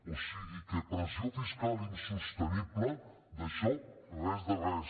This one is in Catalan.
o sigui que pressió social insostenible d’això res de res